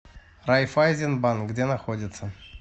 райффайзенбанк где находится